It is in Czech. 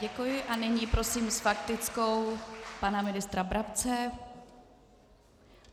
Děkuji a nyní prosím s faktickou pana ministra Brabce.